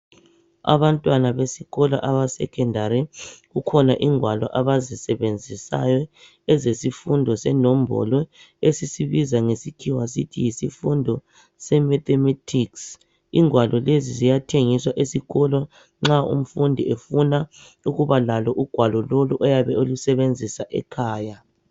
Abantwana besikolo abe secondary kukhona ingwalo abazisebenzisayo ezesifundo senombolo esisibiza ngezikhiwa sithi yisifundo se mathematics igwalo lezi ziyathengiswa esikolo nxa umfundi efuna ukuba lalo ugwalo lolu ayabe elusebenzisa ekhaya.